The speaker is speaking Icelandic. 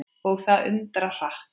Og það undra hratt.